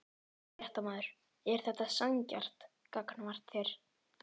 Fréttamaður: Er þetta sanngjarnt gagnvart þér?